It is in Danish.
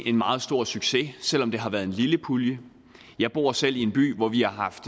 en meget stor succes selv om det har været en lille pulje jeg bor selv i en by hvor vi har haft